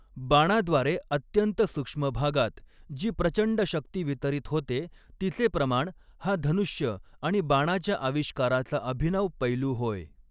बाणाद्वारे अत्यंत सूक्ष्म भागात जी प्रचंड शक्ती वितरित होते तिचे प्रमाण हा धनुष्य आणि बाणाच्या आविष्काराचा अभिनव पैलू होय.